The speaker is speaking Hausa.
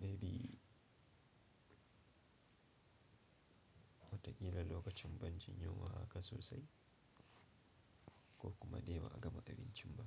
maybe watakila lokacin ban jin yunwa haka sosai ko kuma dai ba a gama abincin ba.